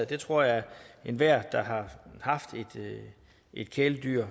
det tror jeg enhver der har haft et kæledyr